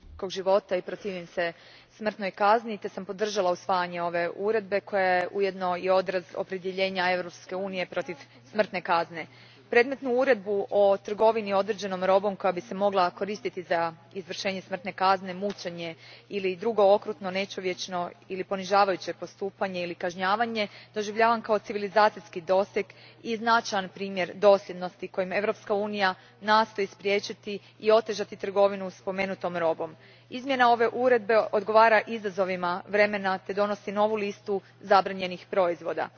Gospođo predsjednice, osobno se zalažem za poštivanje ljudskog života i protivim se smrtnoj kazni te sam podržala usvajanje ove Uredbe koja je ujedno i odraz opredjeljenja Europske unije protiv smrtne kazne. Predmetnu Uredbu o trgovini određenom robom koja bi se mogla koristiti za izvršenje smrtne kazne, mučenje ili drugo okrutno, nečovječno ili ponižavajuće postupanje ili kažnjavanje doživljavam kao civilizacijski doseg i značajan primjer dosljednosti kojim Europska unija nastoji spriječiti i otežati trgovinu spomenutom robom. Izmjena ove Uredbe odgovara izazovima vremena te donosi novu listu zabranjenih proizvoda.